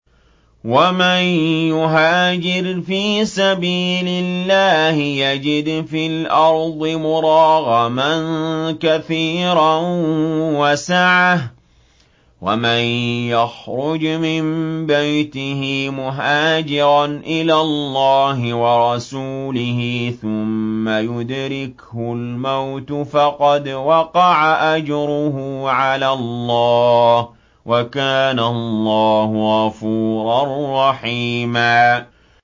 ۞ وَمَن يُهَاجِرْ فِي سَبِيلِ اللَّهِ يَجِدْ فِي الْأَرْضِ مُرَاغَمًا كَثِيرًا وَسَعَةً ۚ وَمَن يَخْرُجْ مِن بَيْتِهِ مُهَاجِرًا إِلَى اللَّهِ وَرَسُولِهِ ثُمَّ يُدْرِكْهُ الْمَوْتُ فَقَدْ وَقَعَ أَجْرُهُ عَلَى اللَّهِ ۗ وَكَانَ اللَّهُ غَفُورًا رَّحِيمًا